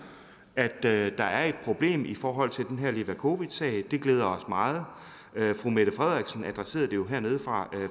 at der er et problem i forhold til den her levakovicsag det glæder os meget fru mette frederiksen adresserede det jo her fra